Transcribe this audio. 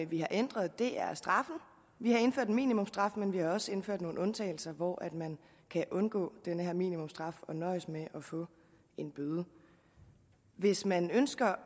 vi har ændret er straffen vi har indført en minimumstraf men vi har også indført nogle undtagelser hvor man kan undgå den her minimumstraf og nøjes med at få en bøde hvis man ønsker